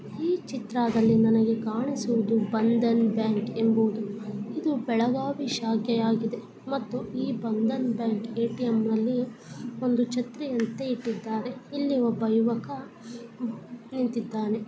ಈ ಚಿತ್ರಾ ದಲ್ಲಿ ನನಗೆ ಕಾಣಿಸುವುದು ಬಂಧನ್ ಬ್ಯಾಂಕ್ ಎಂಬುದು. ಇದು ಬೆಳಗಾವಿ ಶಾಖೆಯಾಗಿದೆ ಮತ್ತು ಈ ಬಂಧನ್ ಬ್ಯಾಂಕ್ ಎ.ಟಿ.ಎಂ. ನಲ್ಲಿ ಒಂದು ಛತ್ರಿಯಂತೆ ಇಟ್ಟಿದ್ದಾರೆ. ಇಲ್ಲಿ ಒಬ್ಬ ಯುವಕ ನಿಂತ್ತಿದ್ದಾನೆ.